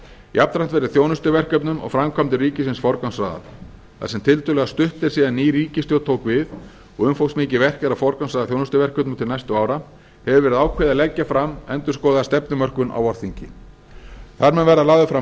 jafnframt verði þjónustuverkefnum og framkvæmdum ríkisins forgangsraðað þar sem tiltölulega stutt er síðan ný ríkisstjórn tók við og umfangsmikið verk er að forgangsraða þjónustuverkefnum til næstu ára hefur verið ákveðið að leggja fram endurskoðaða stefnumörkun á vorþingi þar mun verða lagður fram